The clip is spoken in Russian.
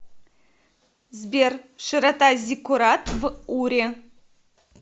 сбер широта зиккурат в уре